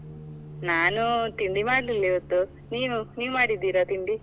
ನಾನು ತಿಂಡಿ ಮಾಡ್ಲಿಲ್ಲ ಇವತ್ತು, ನೀವು ನೀವ್ ಮಾಡಿದ್ದೀರಾ ತಿಂಡಿ?